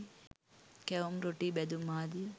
කැවුම් රොටී බැදුම් ආදිය